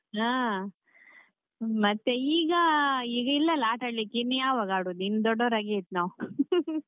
ಅಹ್ ಮತ್ತೆ ಈಗ ಈಗ ಇಲ್ಲ ಅಲ್ಲ ಆಟಾಡ್ಲಿಕ್ಕೆ ಇನ್ನು ಯಾವಾಗ ಆಡುದು ಇನ್ನು ದೊಡ್ಡವರಾಗಿ ಆಯ್ತು ನಾವ್ .